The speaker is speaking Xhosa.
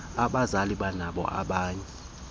abazali benabo abanye